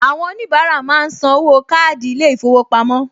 Àwọn oníbàárà máa ń san owó káàdì ilé-ìfowópamọ́